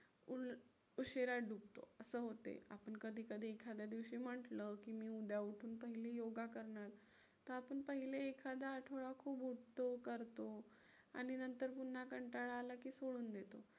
उशिरा डुबतो असं होते. आपण कधी कधी एखाद्या दिवशी म्हंटलं की मी उद्या उठून पहिले योगा करणार तर आपण पहिले एखादा आठवडा खूप उठतो, करतो आणि नंतर पुन्हा कंटाळा आला की सोडून देतो.